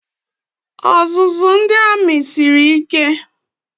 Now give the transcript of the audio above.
Ọzụzụ ndị amị siri ike.